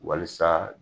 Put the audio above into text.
Walasa